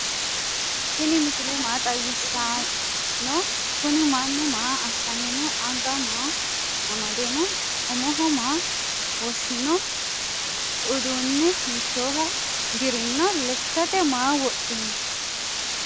tini misile maa xawisa no?kuni manu maa asani no?anga maa amade no?uumoho maa woshino udune hitoha dirino lekkate maa wodhino?